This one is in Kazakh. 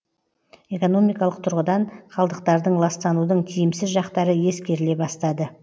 экономикалық тұрғыдан қалдықтардың ластанудың тиімсіз жақтары ескеріле бастады